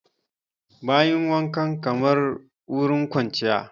Bayin wankan kamar wurin kwanciya